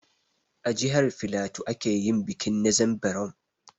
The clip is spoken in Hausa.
A jihar filatu ake yin bikin ''Nzem berom''